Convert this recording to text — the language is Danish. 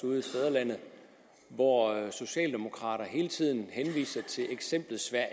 ude i fædrelandet hvor socialdemokrater hele tiden henviser til eksemplet sverige